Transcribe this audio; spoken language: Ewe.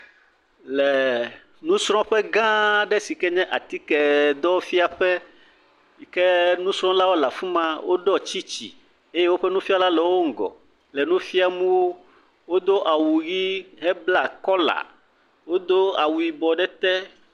Le nusrɔ̃ƒegãa aɖe si kee nye atikedɔfiaƒe yi ke nusrɔ̃lawo le afi ma eye nufiala le wo ŋgɔ. Wodo awu ʋii heblaa kɔla, wodo awu yibɔ ɖe ete.